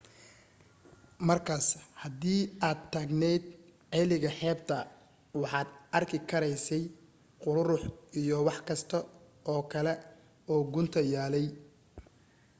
markaas hadii aad taagnayd ceeliga xeebta waxaad arki karaysay quruurux iyo wax kasta oo kale oo gunta yaallay